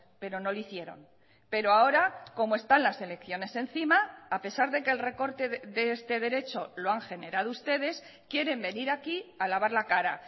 pero no lo hicieron pero ahora como están las elecciones encima a pesar de que el recorte de este derecho lo han generado ustedes quieren venir aquí a lavar la cara